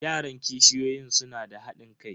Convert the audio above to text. Yaran kishiyoyin suna da hadin kai.